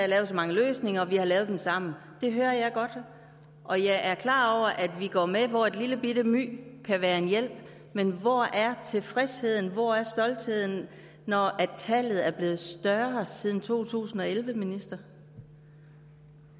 lavet så mange løsninger og at vi har lavet dem sammen det hører jeg godt og jeg er klar over at vi går med hvor et lillebitte my kan være en hjælp men hvor er tilfredsheden hvor er stoltheden når tallet er blevet større siden to tusind og elleve minister